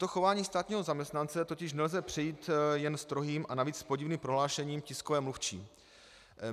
Toto chování státního zaměstnance totiž nelze přejít jen strohým a navíc podivným prohlášením tiskové mluvčí.